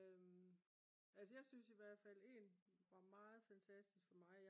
altså jeg synes i hvert fald en var meget fantastisk for mig